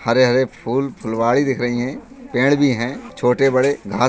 हरे-हरे फुल फुलवाड़ी दिख रही हैं पेड़ भी हैं छोटे बड़े घाँस --